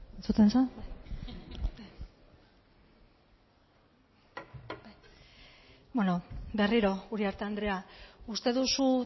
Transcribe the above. berriro uriarte andrea uste duzu